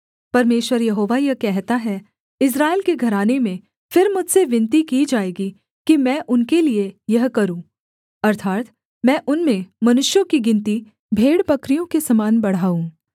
परमेश्वर यहोवा यह कहता है इस्राएल के घराने में फिर मुझसे विनती की जाएगी कि मैं उनके लिये यह करूँ अर्थात् मैं उनमें मनुष्यों की गिनती भेड़बकरियों के समान बढ़ाऊँ